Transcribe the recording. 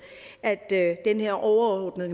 de her overordnede